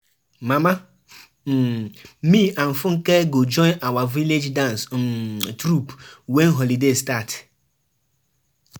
My first daughter um don graduate from school so we wan celebrate her um